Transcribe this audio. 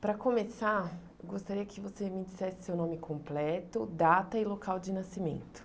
Para começar, gostaria que você me dissesse seu nome completo, data e local de nascimento.